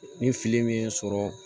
Ni fili min ye sɔrɔ